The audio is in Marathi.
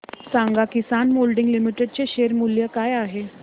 सांगा किसान मोल्डिंग लिमिटेड चे शेअर मूल्य काय आहे